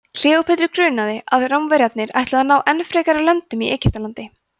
kleópötru grunaði að rómverjarnir ætluðu að ná enn frekari völdum í egyptalandi